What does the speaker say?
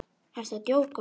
Ertu að djóka?